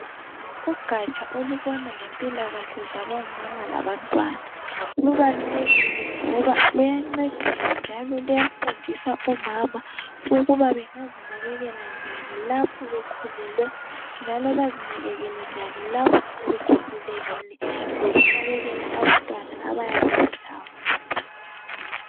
Ugatsha olubona ngempilakahle zabomama labantwana lubalulekile ngoba luyancedisa njalo luyafundisa omama ukuba bengazinakekela njani lapho bekhulelwe njalo bazinakekele njani lapho sebekhululekile lokhu nakekela abantwana abayabe belabo.